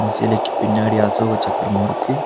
அந்த செலைக்கு பின்னாடி அசோக சக்கரமு இருக்கு.